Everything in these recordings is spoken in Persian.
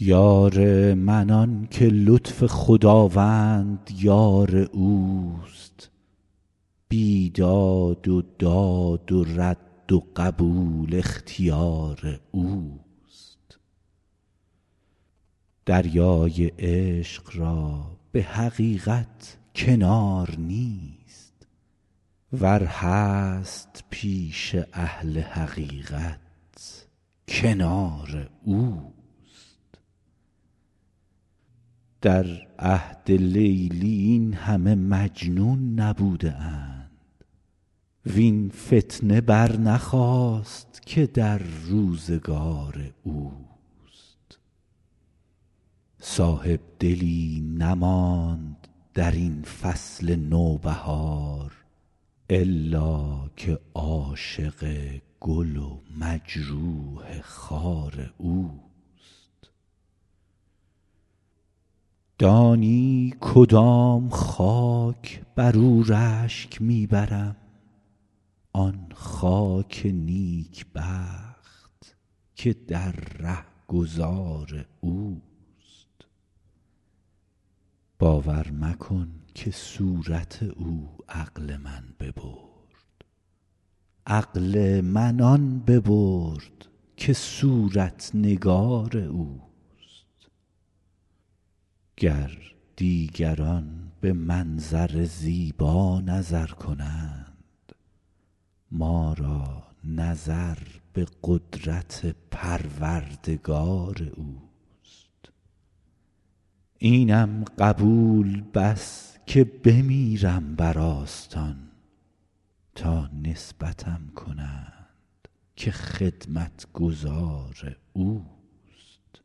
یار من آن که لطف خداوند یار اوست بیداد و داد و رد و قبول اختیار اوست دریای عشق را به حقیقت کنار نیست ور هست پیش اهل حقیقت کنار اوست در عهد لیلی این همه مجنون نبوده اند وین فتنه برنخاست که در روزگار اوست صاحبدلی نماند در این فصل نوبهار الا که عاشق گل و مجروح خار اوست دانی کدام خاک بر او رشک می برم آن خاک نیکبخت که در رهگذار اوست باور مکن که صورت او عقل من ببرد عقل من آن ببرد که صورت نگار اوست گر دیگران به منظر زیبا نظر کنند ما را نظر به قدرت پروردگار اوست اینم قبول بس که بمیرم بر آستان تا نسبتم کنند که خدمتگزار اوست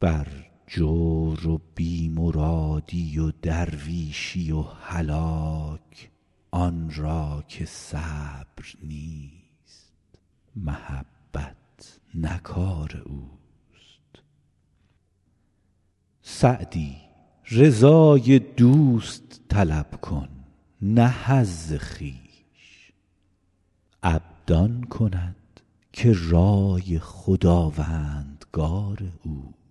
بر جور و بی مرادی و درویشی و هلاک آن را که صبر نیست محبت نه کار اوست سعدی رضای دوست طلب کن نه حظ خویش عبد آن کند که رای خداوندگار اوست